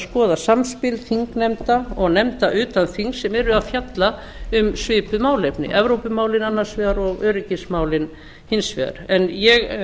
skoða samspil þingnefnda og nefnda utan þings sem eru að fjalla um svipuð málefni evrópumálið annars vegar og öryggismálin hins vegar en ég